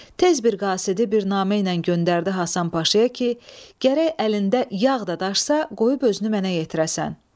Tez bir qasidi bir naməylə göndərdi Həsən Paşaya ki, gərək əlində yağ da daşsa, qoyub özünü mənə yetirəsən.